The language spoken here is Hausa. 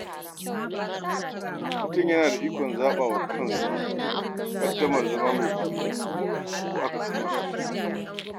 Mutum yana da ikon zaɓa wa kansa ƙaddarar zama mai kuɗi ko akasin haka?